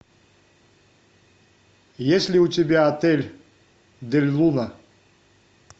есть ли у тебя отель дель луна